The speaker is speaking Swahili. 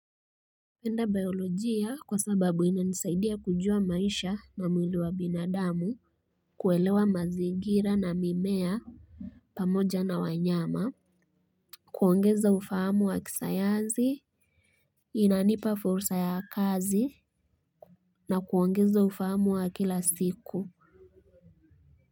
Napenda biolojia kwa sababu inanisaidia kujua maisha na mwili wa binadamu, kuelewa mazingira na mimea pamoja na wanyama. Kuongeza ufahamu wa kisayansi inanipa fursa ya kazi na kuongeza ufahamu wa kila siku.